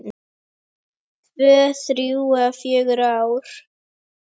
Tvö, þrjú eða fjögur ár?